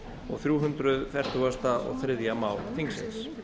og þrjú hundruð fertugasta og þriðja mál þingsins